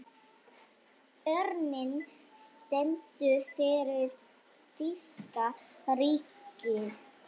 Örninn stendur fyrir þýska ríkið.